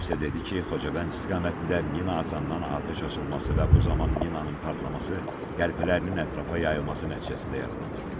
Xocavənd istiqamətində minaatan atəş açılması və bu zaman minanın partlaması, qəlpələrinin ətrafa yayılması nəticəsində yaralanıb.